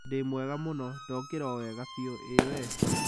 Ndĩ mwega mũno, ndokĩra o wega biũ, ĩĩ we?